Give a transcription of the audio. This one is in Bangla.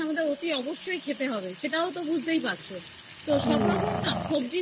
অতি অবশ্যই খেতে হবে সেটাও তো বুজতে পারছো তো সবরকম সবজি